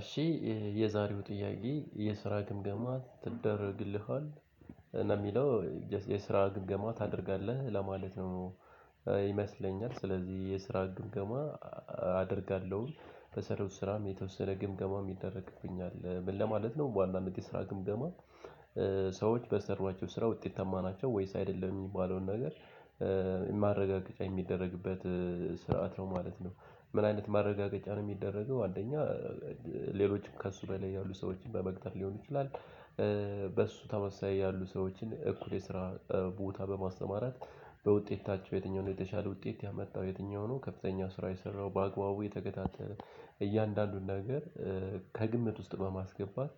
እሺ የዛሬው ጥያቄ የስራ ግምገማ ትደረግልሃል እ ለሚለው የስራ ግምገማ ታደርጋለህ ለማለት ነው። ይመስለኛል፤ ስለዚህ የስራ ግምገማ አደርጋለሁኝ፤ በሠራሁት ስራም የተወሰነ ግምገማ ይደረግብኛል፤ ምን ለማለት ነው በዋናነት የስራ ግምገማ? ሰዎች በሰሯቸው ስራ ውጤትታማ ናቸው ወይስ አይደለም የሚባለውን ነገር ማረጋገጫ የሚደረግበት ስርዓት ነው ማለት ነው? ምን አይነት ማረጋገጫ ነው እሚደረገው አንደኛ ሌሎችም ከእሱ በላይ ያሉ ሰዎችን በመቅጠር ሊሆን ይችላል። በእሱ ተመሳሳይ ያሉ ሰዎችን እኩል የስራ ቦታ በማሰማራት። በውጤታቸው የትኛውን የተሻለ ውጤት ያመጣው የትኛው ነው ከፍተኛ ስራ የሰራው በአግባቡ የተከታተለ እያንዳንዱን ነገር። ከግምት ውስጥ በማስገባት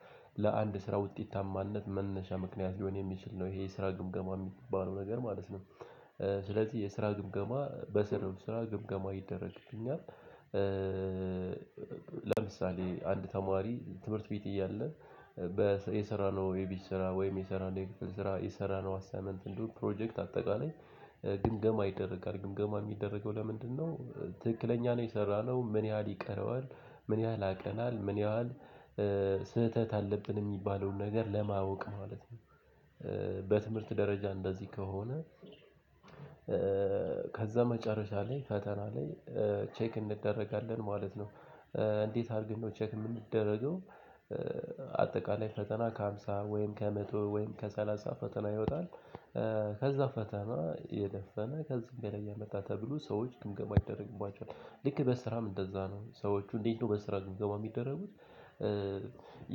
ለአንድ ስራ ውጤታማነት መነሻ ምክንያት ሊሆን የሚችል ነው ይሄ ስራ ግምገማ የሚገባ ነው ነገር ማለት ነው። ስለዚህ የስራ ግምገማ በሰራሁት ስራ ግምገማ ይደረግልኛል። ለምሳሌ አንድ ተማሪ ትምህርት ቤት እያለ የሰራነው ወይ የቤት ስራ ወይም የሰራነው የክፍል ስራ የሰራነው አሳይመንት እንዲሁም ፕሮጀክት አጠቃላይ ግምገማ ይደረጋል ግምገማ የሚደረገው ለምንድነው? ትክክለኛ ነው የሰራነው ምን ያህል ይቀረዋል ምን ያህል ያቀናል ምን ያህል ስህተት አለብን የሚባለውን ነገር ለማወቅ ማለት ነው። በትምህርት ደረጃ እንደዚህ ከሆነ። ከዛ መጨረሻ ላይ ፈተና ላይ ቼክ እንደረጋለን ማለት ነው። እንዴት አድርገን ነው ቼክ የምንደረገው? አጠቃላይ ፈተና ከሃምሳ ወይም ከመቶ ወይም ከሰላሳ ፈተና ይወጣል። ከዛ ፈተና የደፈነ ከዚህ በላይ ቢያመጣ ተብሎ ሰዎች ግምገማ ይደረግባቸዋል ልክ በስራም እንደዛ ነው ሰዎቹ እንዴት በስራ ግምገማ የሚደረጉት?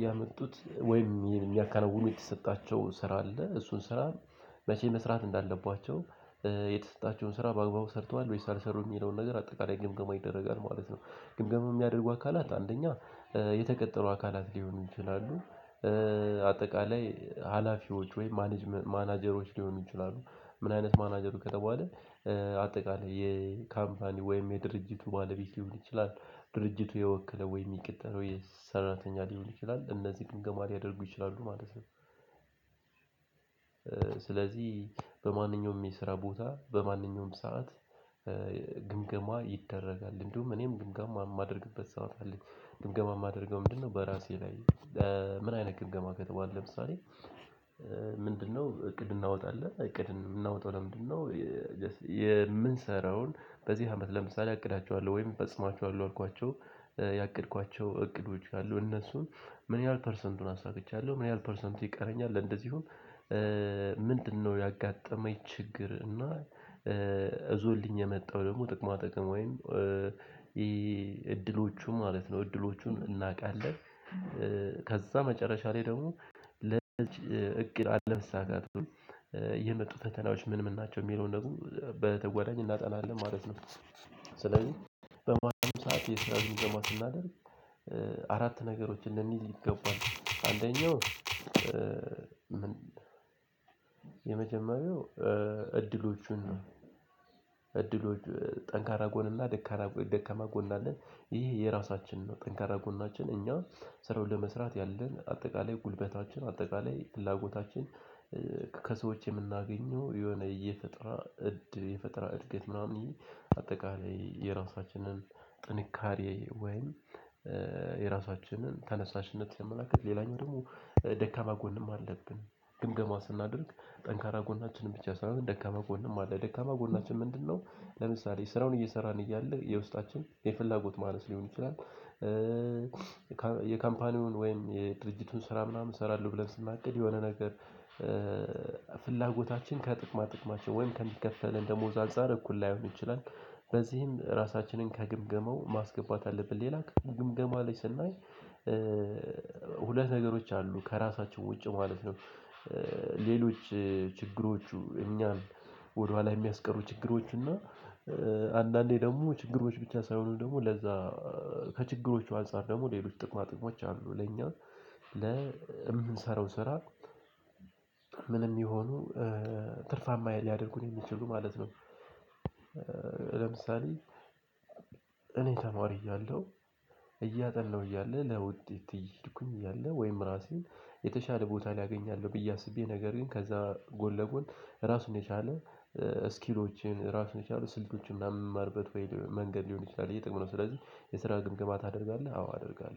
ያመጡት ወይም የሚያካውኑ የተሰጣቸው ስራ አለ እሱን ስራ መቼ መስራት እንዳለባቸው የተሰጣቸውን ስራ በአግባቡ ሰርተዋል ወይስ አልሰሩም የሚለውን ነገር አጠቃላይ ግምገማ ይደረጋል ማለት ነው። ግምገማ የሚያደርጉ አካላት አንደኛ የተቀጠሩ አካላት ሊሆኑ ይችላሉ። አጠቃላይ ሀላፊዎች ወይ ማናጀሮች ሊሆኑ ይችላሉ። ምን አይነት ማናጀሮች ከተባለ እእ አጠቃላይ የካምፓኒ ወይም የድርጅቱ ባለቤት ሊሆን ይችላል። ድርጅቱ የወከለው ወይም የሚቀረውው ሰራተኛ ሊሆን ይችላል እነዚህ ግምገማ ሊያደርጉ ይችላሉ ማለት ነው። ስለዚህ በማንኛውም የስራ ቦታ በማንኛውም ሰዓት። ግምገማ ይደረጋል እንደውም እኔም ግምገማ እማደርግበት ሰዓት አለች ግምገማ የማደርገው ምንድነው በራሴ ላይ። ምን አይነት ግምገማ ከተባለ ለምሳሌ። ምንድነው እቅድ እናወጣለን እቅድ ምናወጣው ለምንድነው? የምንሰራውን በዚህ አመት ለምሳሌ አቅዳቸዋለሁ ወይም ፈጽሟቸዋለሁ ያልኳቸውን ያቀድኳቸው እቅዶች አሉ እነሱን ምን ያህል ፐርሰንቱን አሳክቻለሁ ምን ያህል ፐርሰንቱ ይቀረኛል እንደዚሁም። ምንድነው ያጋጠመው ችግር እና እዞልኝ የመጣው ደግሞ ጥቅማ ጥቅም ወይም ይሄ እድሎቹ ማለት ነው እድሎቹን እናቃለን። ከዛ መጨረሻ ላይ ደግሞ ለእቅድ አለመሳካት የመጡ ፈተናዎች ምን ምን ናቸው የሚለውን ደግሞ በተጎዳኝ እናጠናለን ማለት ነው። ስለዚህ በማንኛውም ሰዓት የስራ ግምገማ ስናደርግ። አራት ነገሮች እንደሚይዝ ይገባል አንደኛው የመጀመሪያው እድሎቹን እድሎች ጠንካራ ጎንና ደካማ ጎን አለ። ይህ የራሳችንን ነው ጠንካራ ጎናችን እኛ ስራው ለመስራት ያለን አጠቃላይ ጉልበታችን አጠቃላይ ፍላጎታችን። ከሰዎች የምናገኘው የሆነ የፈጠራ እድ እድገት ምናምን የ አጠቃላይ የራሳችንን ጥንካሬ ወይም የራሳችንን ተነሳሽነት ሲያመላክት ሌላኛው ደግሞ ደካማ ጎንም አለን። ግምገማ ስናደርግ ጠንካራ ጎናችንን ብቻ ሳይሆን ደካማ ጎንም አለ ደካማ ጎናችን ምንድነው? ለምሳሌ ስራውን እየሰራን እያለ የውስጣችን የፍላጎት ማነስ ሊሆን ይችላል። የካምፓኒውን ወይም የድርጅቱን ስራ ምናምን እሰራለሁ ብለን ስናቅድ የሆነ ነገር። ፍላጎታችን ከጥቅማ ጥቅማችን ወይም ከሚከፈል ደሞዝ አንፃር እኩል ላይሆን ይችላል። በዚህም ራሳችንን ከግምገመው ማስገባት አለብን ሌላ ግምገማ ላይ ስናይ። ሁለት ነገሮች አሉ ከራሳቸው ውጭ ማለት ነው። ሌሎች ችግሮቹ እኛን ወደኋላ የሚያስቀሩ ችግሮች እና አንዳንዴ ደግሞ ችግሮች ብቻ ሳይሆኑ ደግሞ ለዛ ከችግሮቹ አንፃር ደግሞ ሌሎች ጥቅማ ጥቅሞች አሉ ለኛ ለምንሰራው ስራ ምንም ይሁኑ ትርፋማ ሊያደርጉን የሚችሉ ማለት ነው። ለምሳሌ እኔ ተማሪ እያለሁ። እያጠሁ እያለ ለውጤት እየሄድኩኝ እያለ ወይም ራሴን የተሻለ ቦታ አገገኛለው ብዬ አስቤ ነገር ግን ከዛ ጎን ለጎን ራሱን የቻለ ስኪሎችን ራሱን የቻለ ስልቶችን ምናምን በምማርበት መንገድ ሊሆን ይችላል ይሄ ጥሩ ነው። ስለዚህ የስራ ግምግማ ታደርጋለህ አዎ አደርጋለሁ